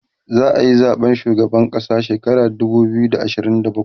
za'ayi zaɓen shugaban ƙasa shekara dubu biyu da ashirin da bakwai